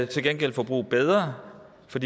til gengæld forbruge bedre for